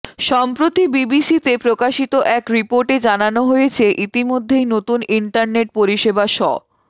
সম্প্রতি বিবিসিতে প্রকাশিত এক রিপোর্টে জানানো হয়েছে ইতিমধ্যেই নতুন ইন্টারনেট পরিষেবা শ